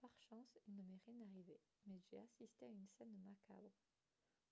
par chance il ne m'est rien arrivé mais j'ai assisté à une scène macabre